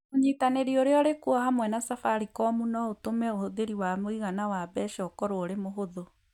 Ũnyitanĩri ũrĩa ũrĩ kuo hamwe na Safaricom no ũtũme ũhũthĩri wa mũigana wa mbeca ũkorũo ũrĩ mũhũthũ